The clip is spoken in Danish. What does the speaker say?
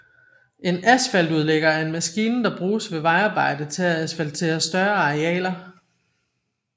En asfaltudlægger er en maskine der bruges ved vejarbejde til at asfaltere større arealer